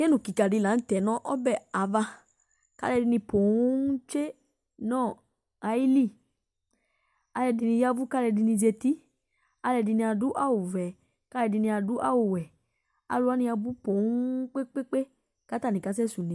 kanu keka di lantɛ no ɔbɛ ava ko alo ɛdini ponŋ tsue no ayili alo ɛdini yavo ko alo ɛdini zati alo ɛdini ado awu vɛ ko alo ɛdini ado awu wɛ alo wani abo ponŋ kpe kpe kpe ko atani kasɛ sɛ une